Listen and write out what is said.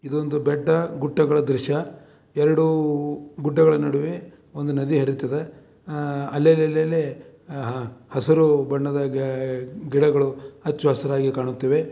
ಇದು ಬೆಟ್ಟ ಗುಡ್ಡಗಳ ದೃಶ್ಯ ಎರಡು ಬೆಟ್ಟಗಳ ನಡುವೆ ಒಂದು ನದಿ ಹರಿತಾ ಇದೆ ಅಲ್ಲಲ್ಲಿ ಹಸಿರು ಬಣ್ಣದ ಗಿಡಗಳು ಹಚ್ಚ ಹಸಿರಾಗಿ ಕಾಣುತ್ತಿದೆ.